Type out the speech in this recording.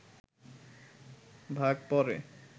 বাঘ পড়ে